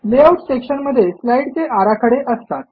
layout section मध्ये स्लाईडचे आराखडे असतात